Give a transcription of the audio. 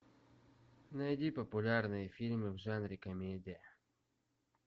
найди популярные фильмы в жанре комедия